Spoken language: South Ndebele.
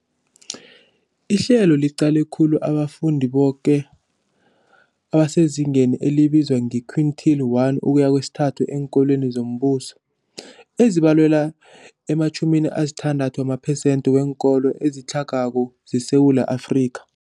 Ihlelo liqale khulu abafundi boke abasezingeni elibizwa nge-quintile 1-3 eenkolweni zombuso, ezibalelwa ema-60 wamaphesenthe weenkolo ezitlhagako zeSewula Afrika.